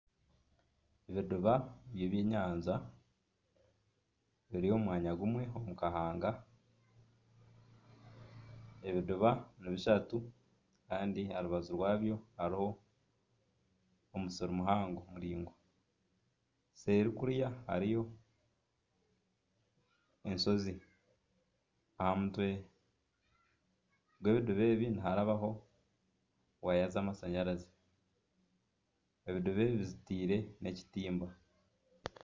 Ebidiba by'ebyenyanja biri omu mwanya gumwe omu kahanga ebidiba ni bishatu kandi aha rubaju rwabyo hariho omusiri muhango muraingwa seeri kuriya hariyo enshozi, aha mutwe gw'ebidiba ebi niharabaho waaya z'amashanyarazi, ebidiba ebi bizitiire ekitimba